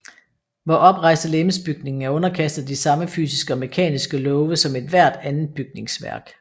Vor oprejste legemsbygning er underkastet de samme fysiske og mekaniske love som ethvert andet bygningsværk